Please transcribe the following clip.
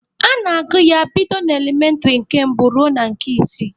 A na-agụ ya bido n'elementịrị nke mbụ ruo na nke isii.